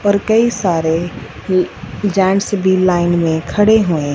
और कई सारे ल जेंट्स भी लाइन में खड़े हुए--